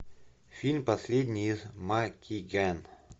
фильм последний из магикян